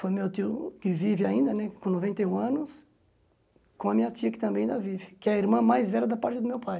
Foi meu tio que vive ainda né, com noventa e um anos, com a minha tia que também ainda vive, que é a irmã mais velha da parte do meu pai.